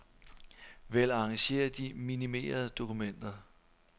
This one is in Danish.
Vælg arrangér de minimerede dokumenter.